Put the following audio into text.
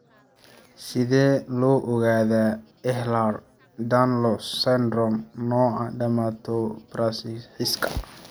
Sidee loo ogaadaa Ehlers Danlos syndrome, nooca dermatosparaxiska?